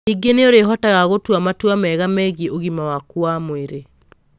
Ningĩ nĩ ũrĩhotaga gũtua matua mega megiĩ ũgima waku wa mwĩrĩ.